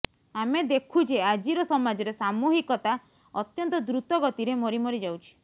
ଆମେ ଦେଖୁଛେ ଆଜିର ସମାଜରେ ସାମୂହିକତା ଅତ୍ୟନ୍ତ ଦ୍ରୁତ ଗତିରେ ମରି ମରି ଯାଉଛି